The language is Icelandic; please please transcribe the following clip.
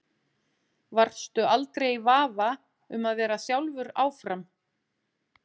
Varstu aldrei í vafa um að vera sjálfur áfram?